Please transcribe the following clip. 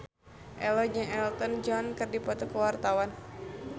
Ello jeung Elton John keur dipoto ku wartawan